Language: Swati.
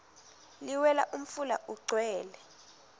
liwela umfula ugcwele